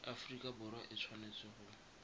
aforika borwa e tshwanetse go